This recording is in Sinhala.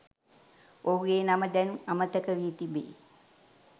ඔහුගේ නම දැන් අමතකවී තිබේ.